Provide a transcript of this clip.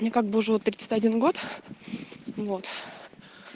мне как бы уже вот тридцать один год вот